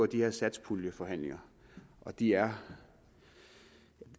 de her satspuljeforhandlinger og de er